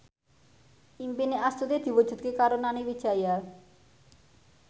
impine Astuti diwujudke karo Nani Wijaya